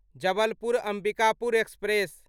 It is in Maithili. जबलपुर अम्बिकापुर एक्सप्रेस